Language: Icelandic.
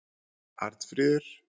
Arnfríður